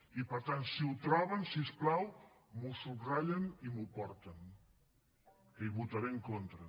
i per tant si ho troben si us plau m’ho subratllen i m’ho porten que hi votaré en contra